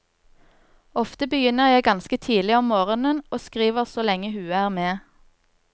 Ofte begynner jeg ganske tidlig om morgenen og skriver så lenge huet er med.